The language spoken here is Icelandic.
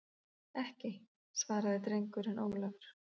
Ekki, svaraði drengurinn Ólafur.